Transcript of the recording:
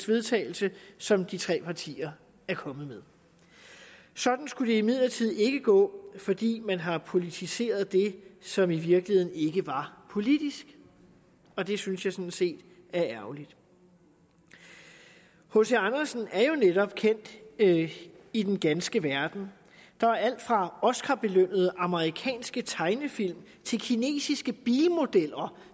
vedtagelse som de tre partier er kommet med sådan skulle det imidlertid ikke gå fordi man har politiseret det som i virkeligheden ikke var politisk og det synes jeg sådan set er ærgerligt hc andersen er jo netop kendt i den ganske verden der er alt fra oscarbelønnede amerikanske tegnefilm til kinesiske bilmodeller